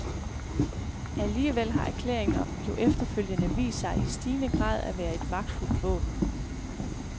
Alligevel har erklæringen jo efterfølgende vist sig i stigende grad at være et magtfuldt våben.